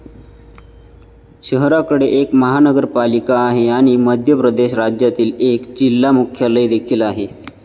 शहराकडे एक महानगरपालिका आहे आणि मध्य प्रदेश राज्यातील एक जिल्हा मुख्यालय देखील आहे.